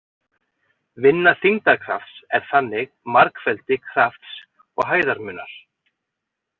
Vinna þyngdarkrafts er þannig margfeldi krafts og hæðarmunar.